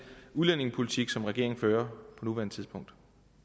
udlændingepolitik som regeringen fører på nuværende tidspunkt